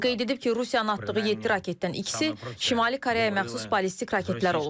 O qeyd edib ki, Rusiyanın atdığı yeddi raketdən ikisi Şimali Koreyaya məxsus ballistik raketlər olub.